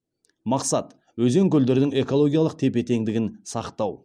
мақсат өзен көлдердің экологиялық тепе теңдігін сақтау